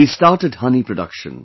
He started honey production